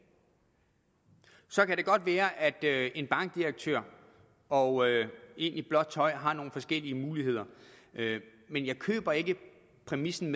så kan det godt være at en bankdirektør og en i blåt tøj har nogle forskellige muligheder men jeg køber ikke præmissen